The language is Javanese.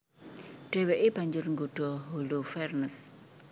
Dhèwèké banjur nggodha Holofernes